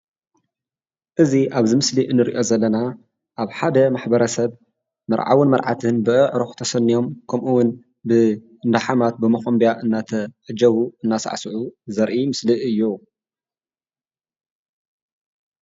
እዚ ኣብዚ ምስሊ እንሪኦ ዘለና ኣብ ሓደ ማ/ሰብ መርዓውን መርዓትን ብኣዕሩኽ ተሰኒዮም ከምኡውን ብእንዳሓማት ብመኸምቢያ እንዳተዓጀቡ እንዳሳዕስዑ ዘርኢ ምስሊ እዩ፡፡